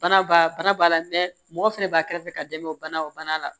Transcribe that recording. Bana b'a bana b'a la mɔgɔ fɛnɛ b'a kɛrɛfɛ ka dɛmɛ o bana o bana la